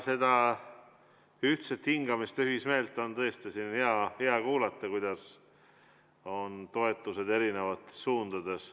Seda ühtset hingamist ja ühismeelt on tõesti siin hea kuulata, kuidas on toetused erinevates suundades.